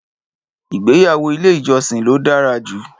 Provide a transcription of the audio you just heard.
Ìgbéyàwó ile ìjọsìn ló dára jù